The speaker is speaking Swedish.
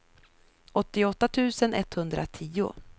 åttioåtta tusen etthundratio